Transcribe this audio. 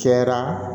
Cɛra